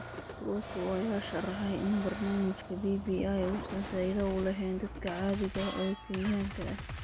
Ruto ayaa sharaxay in barnaamijka BBI uusan faa'iido u lahayn dadka caadiga ah ee Kenyaanka ah.